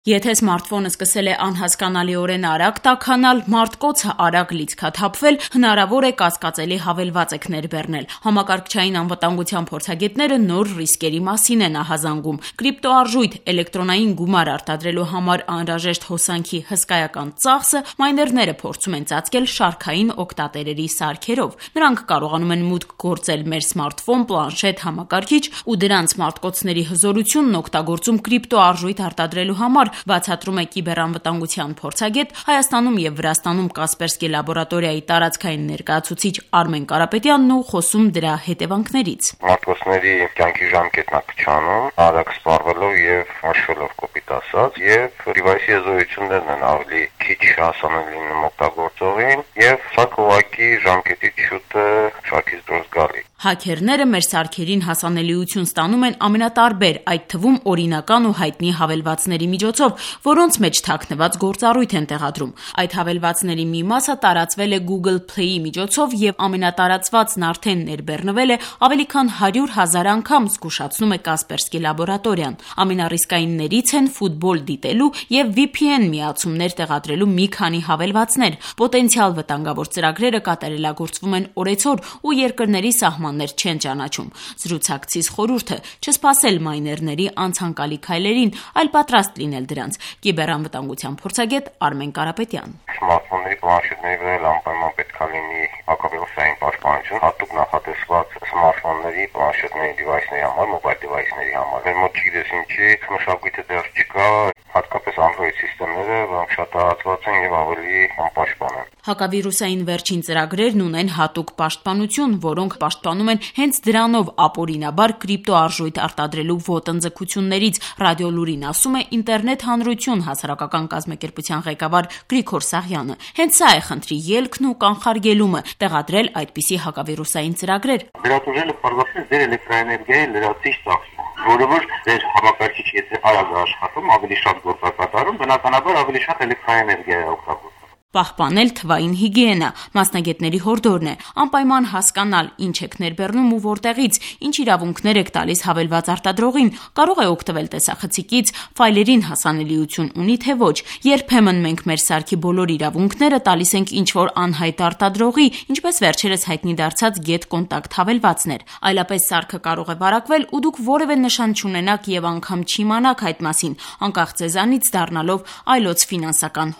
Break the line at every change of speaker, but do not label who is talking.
Եթե սմարթֆոնը սկսել է անհասկանալիորեն արագ տաքանալ, մարտկոցը՝ արագ լիցքաթափվել, հնարավոր է՝ կասկածելի հավելված եք ներբեռնել: Համակարգչային անվտանգության փորձագետները նոր ռիսկերի մասին են ահազանգում՝ կրիպտոարժույթ՝ էլեկտրոնային գումար արտադրելու համար անհրաժեշտ հոսանքի հսկայական ծախսը մայներները փորձում են ծածկել շարքային օգտատերերի սարքերով: Նրանք կարողանում են մուտք գործել մեր սմարթֆոն, պլանշետ, համակարգիչ ու դրանց մարտկոցների հզորությունն օգտագործում կրիպտոարժույթ արտադրելու համար՝ բացատրում է կիբեռանվատանգության փորձագետ, Հայաստանում և Վրաստանում «Կասպերսկի Լաբորատորիա»-ի տարածքային ներկայացուցիչ Արմեն Կարապետյանն ու խոսում դրա հետեւանքներից:
«Մարտկոցների կյանքի ժամկետն է կարճանում՝ արագ սպառվելով ու մաշվելով, սարքի հզորությունները պակաս հասանելի են լինում օգտագործողին, ու սարքն ավելի շուտ է շարքից դուրս գալիս»:
Հաքերները մեր սարքերին հասանելիություն ստանում են տարբեր՝ այդ թվում օրինական ու հայտնի հավելվածների միջոցով, որոնց մեջ թաքնված գործառույթ են տեղադրում: Այդ հավելվածների մի մասը տարածվել է Google Play-ի միջոցով, և ամենատարածվածն արդեն ներբեռնվել է ավելի քան 100 հազար անգամ՝ զգուշացնում է «Կասպերսկի Լաբորատորիա»-ն: Ամենառիսկայիններից են ֆուտբոլ դիտելու և VPN-միացումներ տեղադրելու մի քանի հավելվածներ: Պոտենցիալ վտանգավոր ծրագրերը կատարելագործվում են օրեցօր ու երկրների սահմաններ չեն ճանաչում: Զրուցակցիս խորհուրդը՝ չսպասել մայներների անցանկալի քայլերին, այլ պատրաստ լինել դրանց: Կիբեռանվատանգության փորձագետ Արմեն Կարապետյան:
«Սմարտֆոնների, պլանշետների վրա էլ անպայման պետք է լինի հատուկ վիրուսային պաշտպանություն՝ նախատեսված հենց այդ սարքերի համար: Մեզ մոտ չգիտես ինչու այդ մշակույթը դեռ չկա: Սա հատկապես կարեւոր է անդրոիդ-համակարգերի համար, որոնք առավել անպաշտպան են»:
Հակավիրուսային վերջին ծրագրերն ունեն հատուկ պաշտպանություն, որոնք համակարգիչը պաշտպանում են հենց դրանով ապօրինաբար կրիպտոարժույթ արտադրելու ոտնձգություններից՝ «Ռադիոլուրին» ասում է «Ինտերնետ հանրություն» հասարակական կազմակերպության ղեկավար Գրիգոր Սաղյանը: Հենց սա է խնդրի ելքն ու կանխարգելումը՝ տեղադրել այդպիսի հակավիրուսային ծրագրեր՝ ասում է
մասնագետը: «Դրանից տուժելը ձեր էլեկտրաէներգիայի լրացուցիչ ծախսն է: Բնականաբար, եթե սարքն ավելի շատ գործողություն է կատարում, ավելի շատ է հոսանք ծախսում»:
Պահպանել թվային հիգիենա՝ մասնագետների հորդորն է, անպայման հասկանալ՝ ինչ եք ներբեռնում ու որտեղից, ինչ իրավունքներ եք տալիս հավելված արտադրողին՝ կարո՞ղ է օգտվել տեսախցիկից, ֆայլերին հասանելիություն ունի՞, թե՞ ոչ: Երբեմն մենք մեր սարքի բոլոր իրավունքները տալիս ենք ինչ-որ անհայտ արտադրողի, ինչպես վերջերս հայտնի դարձած get-contact հավելվածն էր: Այլապես սարքը կարող է վարակվել, ու դուք որեւէ նշան չունենաք ու անգամ չիմանաք այդ մասին՝ անկախ ձեզանից դառնալով այլոց ֆինանսական